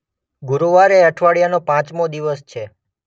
ગુરુવાર એ અઠવાડિયાનો પાંચમો દિવસ છે.